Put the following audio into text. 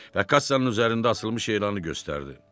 Və kassanın üzərində asılmış elanı göstərdi.